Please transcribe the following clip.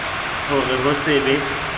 ho re ho se be